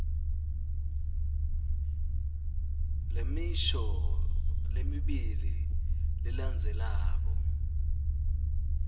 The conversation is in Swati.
lemisho lemibili lelandzelako